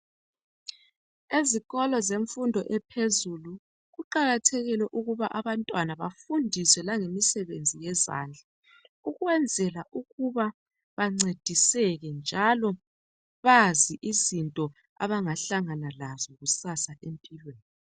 Ezikolo zemfundo ephezulu kuqakathekile ukuba abantwana bafundiswe langemisebenzi yezandla ukwenzela ukuba bancediseke njalo bazi izinto abangahlangana lazo kusasa empilweni.